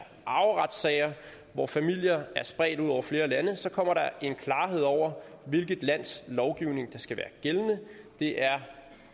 arveretssager hvor familier er spredt ud over flere lande så kommer der en klarhed over hvilket lands lovgivning der skal være gældende det er